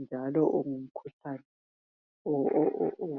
njalo ungumhlane o.. o..